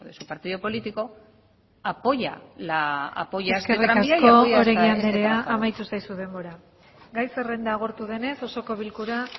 su partido político apoya este tranvía y apoya este trazado eskerrik asko oregi anderea amaitu zaizu denbora gai zerrenda agortu denez osoko bilkura